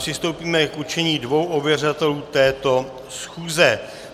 Přistoupíme k určení dvou ověřovatelů této schůze.